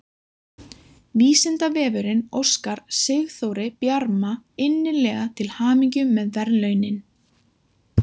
Vísindavefurinn óskar Sigþóri Bjarma innilega til hamingju með verðlaunin!